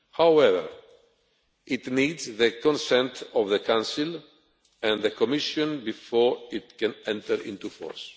However, it needs the consent of the Council and the Commission before it can enter into force.